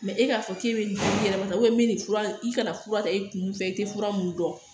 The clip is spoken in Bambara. e k'a fɔ k'e bɛ nin yɛrɛ ma min bɛ nin fura i kana fura ta i kun fɛ i tɛ fura mun dɔn